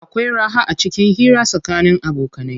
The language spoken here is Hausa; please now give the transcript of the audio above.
Akwai raha acikin hira tsakanin abokanai.